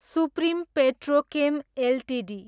supreme Petrochem Ltd